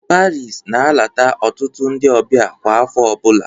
Paris na-alata ọtụtụ ndị ọbịa kwa afọ ọbụla